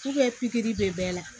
pikiri bɛ bɛɛ la